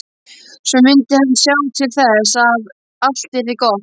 Svo mundi hann sjá til þess að allt yrði gott.